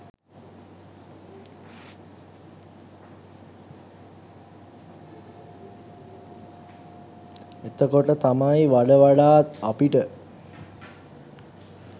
එතකොට තමයි වඩවඩාත් අපිට